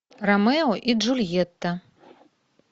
ромео и джульетта